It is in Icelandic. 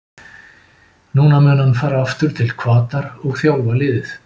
Nú mun hann fara aftur til Hvatar og þjálfa liðið.